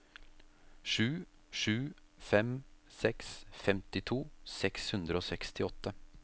sju sju fem seks femtito seks hundre og sekstiåtte